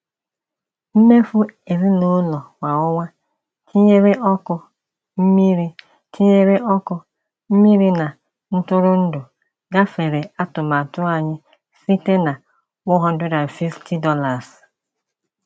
Mmefu ezinụlọ kwa ọnwa, tinyere ọkụ, mmiri tinyere ọkụ, mmiri na ntụrụndụ, gafere atụmatụ anyị site na $150.